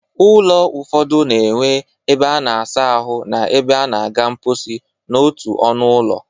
Ụlọ ụfọdụ na-enwe ebe a na-asa ahụ na ebe a na-aga mkposi n'otu ọnụ ụlọ